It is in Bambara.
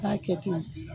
K'a kɛ ten